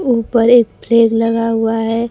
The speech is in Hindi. ऊपर एक फ्रिज लगा हुआ है।